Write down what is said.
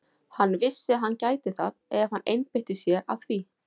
Hann vissi að hann gæti það ef hann einbeitti sér að því.